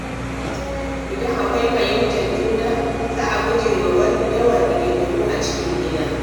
Idan akwai fahimtar juna, za a guje wa yawan rigingimu a cikin gida.